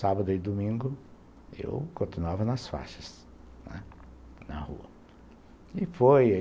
Sábado e domingo eu continuava nas faixas, né, na rua. E foi